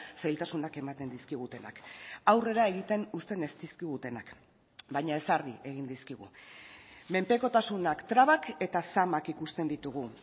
zailtasunak ematen dizkigutenak aurrera egiten uzten ez dizkigutenak baina ezarri egin dizkigu menpekotasunak trabak eta zamak ikusten ditugu